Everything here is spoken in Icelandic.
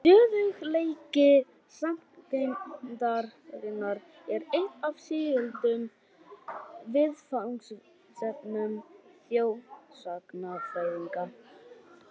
Stöðugleiki sagngeymdarinnar er eitt af sígildum viðfangsefnum þjóðsagnafræðinga.